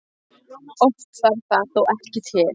Oft þarf það þó ekki til.